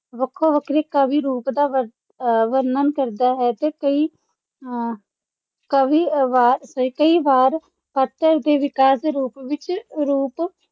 ਵੱਖੋ-ਵੱਖਰੇ ਕਾਵਿ ਰੂਪ ਦਾ ਵਰ ਅਹ ਵਰਣਨ ਕਰਦਾ ਹੈ ਤੇ ਕਈ ਅਹ ਕਵੀ ਅਹ ਵਾਰ ਕਈ ਵਾਰ ਦੇ ਵਿਕਾਸ ਦੇ ਰੂਪ ਵਿੱਚ ਰੂਪ